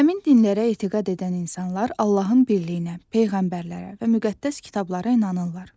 Həmin dinlərə etiqad edən insanlar Allahın birliyinə, peyğəmbərlərə və müqəddəs kitablara inanırlar.